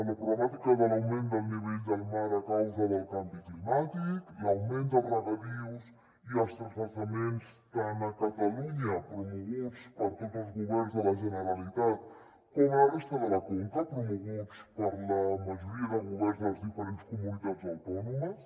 la problemàtica de l’augment del nivell del mar a causa del canvi climàtic l’augment de regadius i els transvasaments tant a catalunya promoguts per tots els governs de la generalitat com a la resta de la conca promoguts per la majoria de governs de les diferents comunitats autònomes